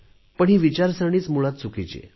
ही विचारसरणीच मूळात चुकीची आहे